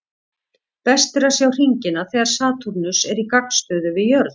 Best er að sjá hringina þegar Satúrnus er í gagnstöðu við jörð.